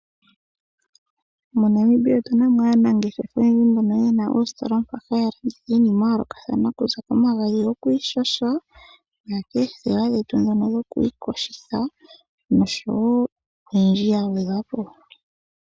MoNamibia otunamo aanangeshefa mbono yena oositola mpoka haya landitha iinima ya yoolokathana kuza komagadhi goku ishasha okaya koothewa dhetu ndhono dhoku ikosha noyindji ya gwedhwa po.